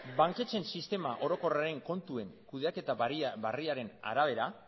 banketxeen sistema orokorraren kontuen kudeaketa berriaren arabera